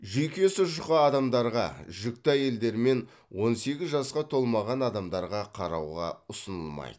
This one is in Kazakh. жүйкесі жұқа адамдарға жүкті әйелдер мен он сегіз жасқа толмаған адамдарға қарауға ұсынылмайды